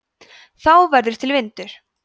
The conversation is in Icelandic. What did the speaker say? þá verður til vindur